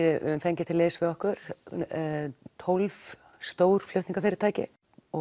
við höfum fengið til liðs við okkur tólf stór flutningafyrirtæki